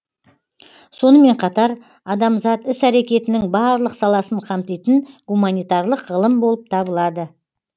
сонымен қатар адамзат іс әрекетінің барлық саласын қамтитын гуманитарлық ғылым болып табылады